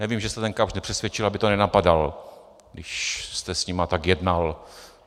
Nevím, že jste ten Kapsch nepřesvědčil, aby to nenapadal, když jste s nimi tak jednal.